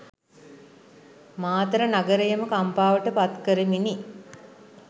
මාතර නගරයම කම්පාවට පත් කරමිනි.